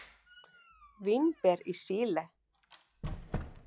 Vínber í Síle.